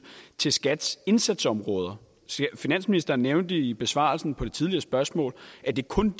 til skats indsatsområder finansministeren nævnte i besvarelsen af det tidligere spørgsmål at det kun